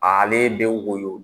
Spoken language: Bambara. Ale be woyo